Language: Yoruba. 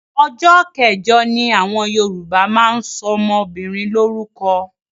Ọjọ́ kẹjọ ni àwọn Yorùbá ń ṣọmọbìnrin lórúkọ.